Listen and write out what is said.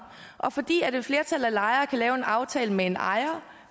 og fordi et flertal af lejere kan lave en aftale med en ejer